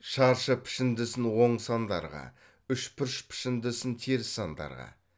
шаршы пішіндісін оң сандарға үшбұрыш пішіндісін теріс сандарға